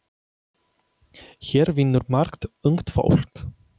Hér vinnur margt ungt fólk.